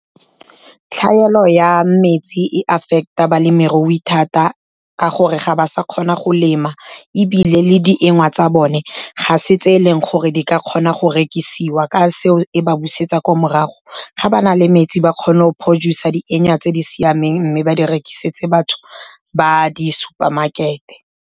Tlhaelo ya metsi e affect-a balemirui thata, ka gore ga ba sa kgona go lema. Ebile le dienywa tsa bone ga se tse eleng gore di ka kgona go rekisiwa. Ka seo e ba busetsa kwa morago ga ba na le metsi ba kgone go producer dienya tse di siameng, mme ba di rekisetse batho ba di supermarket-e.